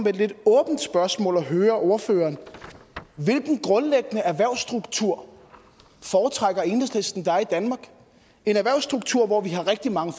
et lidt åbent spørgsmål at høre ordføreren hvilken grundlæggende erhvervsstruktur foretrækker enhedslisten der er i danmark en erhvervsstruktur hvor vi har rigtig mange